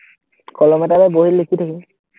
কলম এটা লৈ বহীত লিখি থাকিম